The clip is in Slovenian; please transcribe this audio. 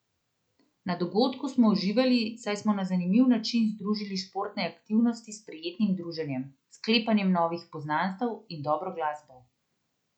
Na dogodku smo uživali, saj smo na zanimiv način združili športne aktivnosti s prijetnim druženjem, sklepanjem novih poznanstev in dobro glasbo.